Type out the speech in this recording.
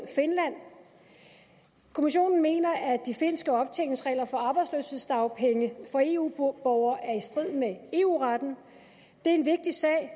finland kommissionen mener at de finske optjeningsregler for arbejdsløshedsdagpenge for eu borgere er i strid med eu retten det er en vigtig sag